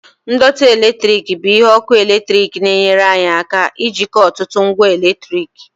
ndọtị eletrik bụ ihe ọkụ eletrik na-enyere anyị aka ijikọ ọtụtụ ngwa eletrik